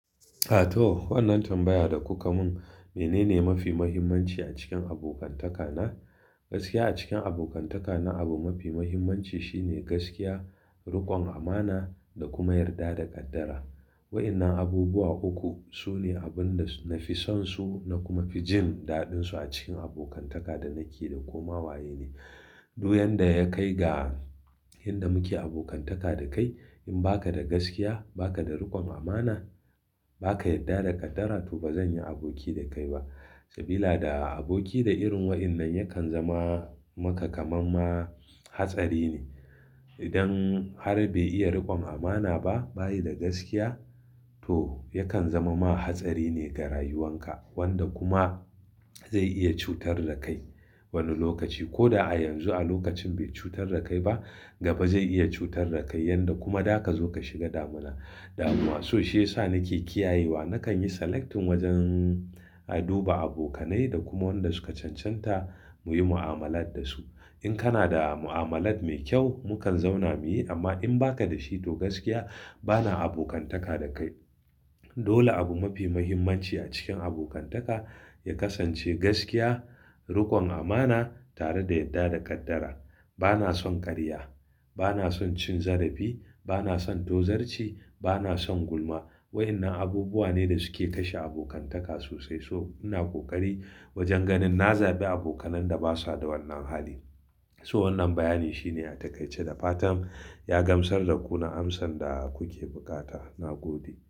A to wannan tambaya da kuka mun menene mafi muhimmanci a cikin abokantaka na? Gaskiya a cikin abokantaka na abu mafi muhimmanci shine gaskiya, rikon amana da kuma yarda da kaddara. Waƴannan abubuwa uku sune abin da na fi son su na kuma fi jin daɗin su a cikin abokantaka da nake da ko ma waye ne. Duk yanda ya kai ga yanda muke abokantaka da kai. In ba ka da gaskiya ba ka da riƙon amana ba ka yarda da ƙaddara to ba zan yi aboki da kai ba. Sabila da aboki da irin waƴannan yakan zama maka kaman na hatsari ne. Idan har bai iya rikon amana ba, bayi da gaskiya to yakan zama ma hatsari ne ga rayuwan ka wanda kuma zai iya cutar da kai wani lokaci. Ko da a yanzu a lokacin bai cutar da kai ba gaba zai iya cutar da kai yanda kuma da ka zo ka shiga damina, damuwa. So shi ya sa nake kiyayewa nakan yi selecting wajen a duba abokanai da kuma wanda suka cancanta muyi mu'amalat da su. In kana da mu'amalat mai kyau mu kan zauna muyi amma in ba ka da shi to gaskiya bana abokantaka da kai. Dole abu mafi muhimmanci a cikin abokantaka ya kasance gaskiya, riƙon amana tare da yarda da ƙaddara. Bana son ƙarya, bana son cin zarafi, bana son tozarci, bana son gulma. Waƴannan abubuwa ne da suke kashe abokantaka sosai so ina kokari wajen ganin na zaɓi abokan da basa da wannan hali. So wannan bayani shine a taƙaice da fatan ya gamsar da ku na amsan da kuke bukata. Na gode.